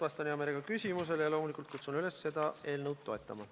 Vastan hea meelega küsimustele ja loomulikult kutsun üles seda eelnõu toetama.